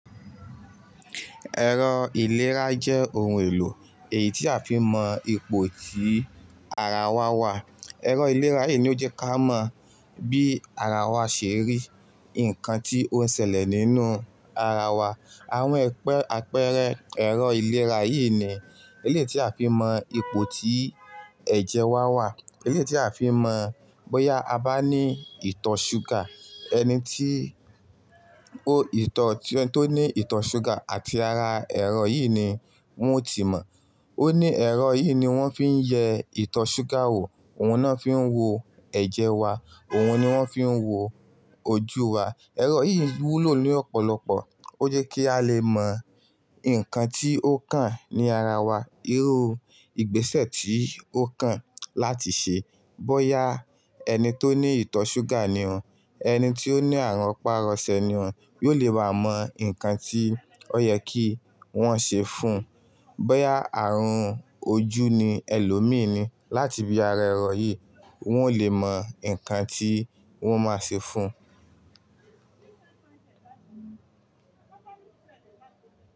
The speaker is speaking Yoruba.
Ẹ̀rọ ìlera jẹ́ ohun èlò èyí tí a fi ń mọ ipò tí ara wa wà. Ẹ̀rọ ìlera yìí ni ó jẹ́ kí a mọ bí ara wa ṣe rí, nǹkan tí ó ń ṣẹlẹ̀ nínú ara wa. Àwọn àpẹẹrẹ ẹ̀rọ ìlera yìí ni eléyi tí a fi mọ ipò tí ẹ̀jẹ̀ wa wà. Elétí a fi mọ bóyá a bá ní ìtọ̀ ṣúgà. Ẹni tí ó ní ìtọ̀ ṣúgà àti ara ẹ̀rọ yìí ni wọ́n yóò ti mọ̀. Ó ní ẹ̀rọ yìí ni wọ́n fi ń yẹ ìtọ̀ ṣúgà wò. Ohun ni won fi ń wo ẹ̀jẹ̀ wa. Ohun ni wọ́n fi ń wo ojú wa. Ẹ̀rọ yìí wúlò ní ọ̀pọ̀lọpọ̀. Ó jẹ́ kí a lè mọ nǹkan tí ó kàn ní ara wa, irú ìgbésẹ̀ tí ó kàn láti ṣe. Bóyá ẹni tó ní ìtọ̀ ṣúgà ni ọ́, ẹni tí ó ní àrùn pàrọ̀sẹ̀ ni ọ́, yóò le baa mọ nǹkan tí ó yẹ kí wọ́n ṣe fún. Bóyá àrùn ojú ni ẹlòmíì ni, láti bí ara ẹ̀rọ yìí, wọ́n ó lè mọ nǹkan tí wọ́n máa ṣe fún un.